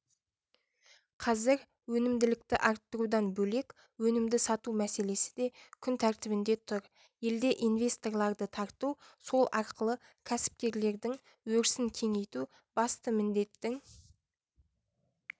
қазір өнімділікті арттырудан бөлек өнімді сату мәселесі де күн тәртібінде тұр елде инвесторларды тарту сол арқылы кәсіпкерлердің өрісін кеңейту басты міндеттің